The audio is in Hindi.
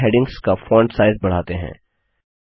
अब चलिए हैडिंग्स का फॉन्ट साइज बढ़ाते हैं